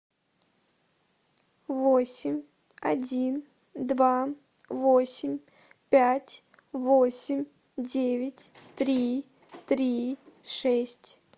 восемь один два восемь пять восемь девять три три шесть